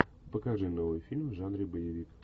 покажи новый фильм в жанре боевик